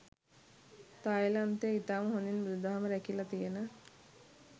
තාය්ලන්තය ඉතාම හොදින් බුදුදහම රැකිලා තියන